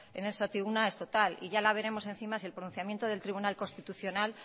en esta tribuna es total y ya veremos encima si el pronunciamiento del tribunal constitucional